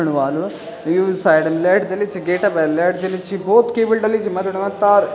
दिखेणु वालू यु साइड म लाइट जली छी गेट क् भैर लाइट जली छी भोत केबल डली छी मथि बटे म तार --